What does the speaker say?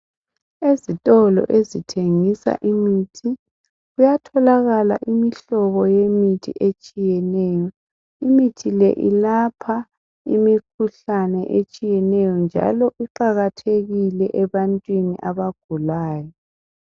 Ezitolo ezithengisa imithi kuyatholakala imihlobo yemithi etshiyeneyo imithi le ilapha imikhuhlane etshiyeneyo njalo iqakathekile ebantwini abagulayo